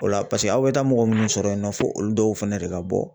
O la paseke aw bi taa mɔgɔ munnu sɔrɔ yen nɔ, fo olu dɔw fana de ka bɔ